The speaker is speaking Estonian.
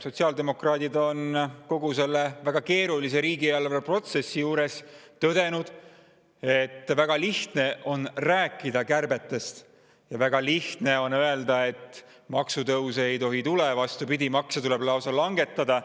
Sotsiaaldemokraadid on kogu selle väga keerulise riigieelarve protsessi juures tõdenud, et väga lihtne on rääkida kärbetest ja väga lihtne on öelda, et maksutõuse ei tohi tulla, vastupidist, et makse tuleb langetada.